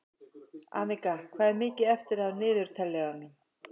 Anika, hvað er mikið eftir af niðurteljaranum?